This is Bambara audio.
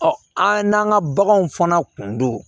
an n'an ka baganw fana kun don